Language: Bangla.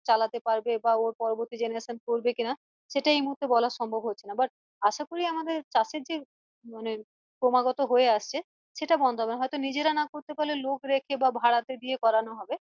চালাতে পারবে বা ওর পরবর্তী generation করবে কিনা সেটা এই মুহূর্তে বলা সম্ভম হচ্ছে but আশা করি আমাদের চাষের যে মানে ক্রমাগত হয়ে আসছে সেটা বন্ধ হবে না হয়তো নিজেরা না করতে পারলে লোক রেখে বা ভাড়াতে রেখে করানো হবে